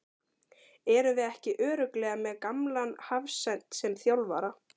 Erum við ekki örugglega með gamlan hafsent sem þjálfara?